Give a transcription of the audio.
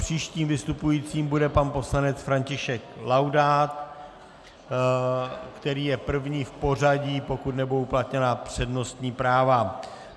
Příštím vystupujícím bude pan poslanec František Laudát, který je první v pořadí, pokud nebudou uplatněna přednostní práva.